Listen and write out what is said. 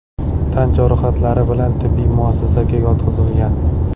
tan jarohatlari bilan tibbiy muassasaga yotqizilgan.